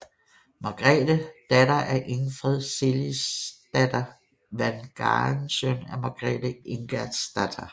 Margrethe datter af Ingfred Ceciliesdatter Vagn Galen søn af Margrethe Ingerdsdatter